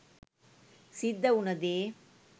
සිද්ධ උන දේ